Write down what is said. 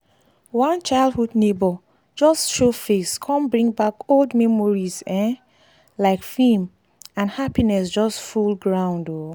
one childhood neighbour just show face come bring back old memories um like film and happinss just full ground um